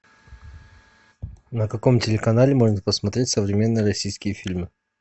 на каком телеканале можно посмотреть современные российские фильмы